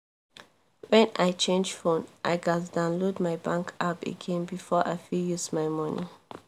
when i change phone i gats download my bank app again before i fit use my money